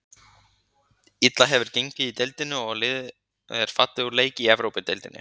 Illa hefur gengið í deildinni og liðið er fallið úr leik í Evrópudeildinni.